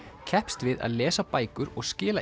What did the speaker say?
keppst við að lesa bækur og skila